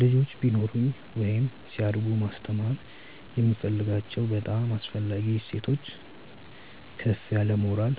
ልጆች ቢኖሩኝ ወይም ሲያድጉ ማስተማር የምፈልጋቸው በጣም አስፈላጊ እሴቶች ከፍ ያለ ሞራል፣